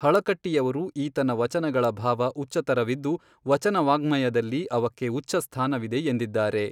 ಹಳಕಟ್ಟಿಯವರು ಈತನ ವಚನಗಳ ಭಾವ ಉಚ್ಚತರವಿದ್ದು ವಚನವಾಙ್ಮಯದಲ್ಲಿ ಅವಕ್ಕೆ ಉಚ್ಚಸ್ಥಾನವಿದೆ ಎಂದಿದ್ದಾರೆ.